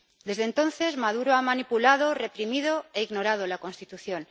Desde entonces, Maduro ha manipulado, reprimido e ignorado la Constitución.